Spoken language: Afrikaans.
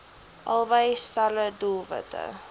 albei stelle doelwitte